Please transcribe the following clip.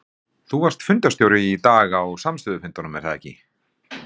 Þú varst fundarstjóri í dag á samstöðufundinum er það ekki?